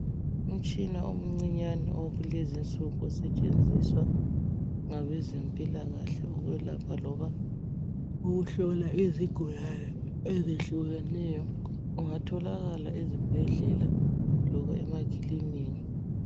Umtshina omncinyane wakulezi insuku osetshenziwa ngabezempilakahle ukwelapha loba ukuhlola izigulani ezehlukeneyo. Ungatholakala ezibhedlela loba emakiliniki